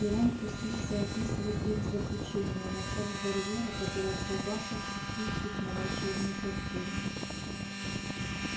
и рон пустился описывать их злоключения начав с барьера который отказался впустить их на волшебную платформу